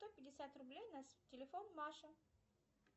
сто пятьдесят рублей на телефон маше